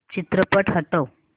चित्रपट हटव